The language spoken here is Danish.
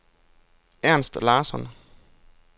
Ernst Larsson